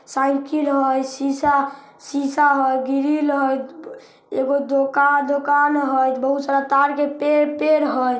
Cycle हेय शीशा- शीशा हेय ग्रिल हेय एगो दोका दोकान हेय बहुत सारा तार-तार के पेड़ पेड़ हेय।